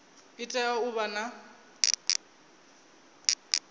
i tea u vha na